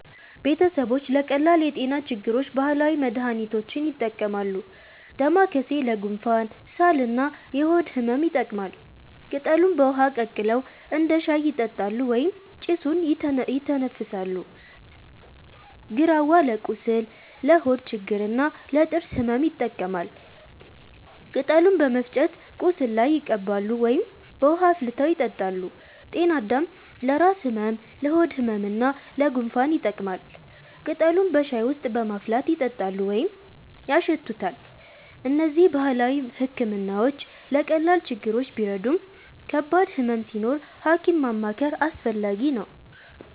ቤተሰቦች ለቀላል የጤና ችግሮች ባህላዊ መድሃኒቶችን ይጠቀማሉ። ዳማከሴ ለጉንፋን፣ ሳል እና የሆድ ህመም ይጠቅማል። ቅጠሉን በውሃ ቀቅለው እንደ ሻይ ይጠጣሉ ወይም ጭሱን ይተነፍሳሉ። ግራዋ ለቁስል፣ ለሆድ ችግር እና ለጥርስ ህመም ይጠቀማል። ቅጠሉን በመፍጨት ቁስል ላይ ይቀባሉ ወይም በውሃ አፍልተው ይጠጣሉ። ጤናአዳም ለራስ ህመም፣ ለሆድ ህመም እና ለጉንፋን ይጠቅማል። ቅጠሉን በሻይ ውስጥ በማፍላት ይጠጣሉ ወይም ያሸቱታል። እነዚህ ባህላዊ ሕክምናዎች ለቀላል ችግሮች ቢረዱም ከባድ ህመም ሲኖር ሐኪም ማማከር አስፈላጊ ነው።